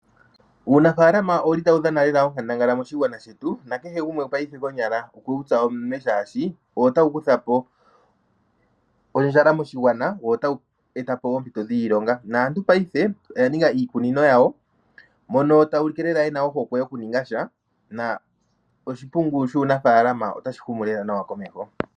Uunafaalama ouli tau dhana lela onkandangala moshigwana shetu, na kehe gumwe paife konyala okwe wu tsa omunwe shaashi owo tau kuthapo ondjala moshigwana wo otau etapo wo oompito dhiilonga. Naantu paife oya ninga iikunino yawo mono ta ya ulike lela yena ohokwe yoku ninga sha na oshimpungu shuunafaalama otashi humu lela nawa komeho.